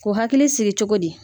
K'u hakili sigi cogo di?